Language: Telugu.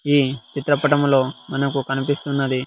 ఈ చిత్రపటంలో మనకు కనిపిస్తున్నది.